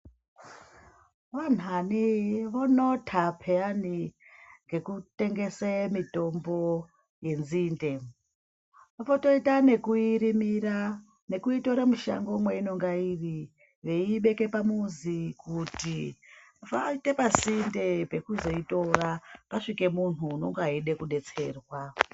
Vanthani vonota pheyani ngekutengese mitombo yenzinde. Votoita nekuirimira nekuitora mushango mweinonga iri veiibeke pamuzi kuti vaite pasinde pekuzoitora pasvike munhu unonga eida kudetserwa.